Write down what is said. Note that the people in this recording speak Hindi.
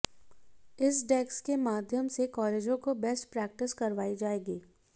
इस डेस्क के माध्यम से कालेजों को बेस्ट प्रैक्टिस करवाई जाएगी